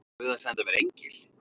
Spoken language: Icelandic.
Var guð að senda mér engil?